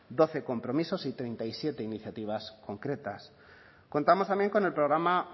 doce compromisos y treinta y siete iniciativas concretas contamos también con el programa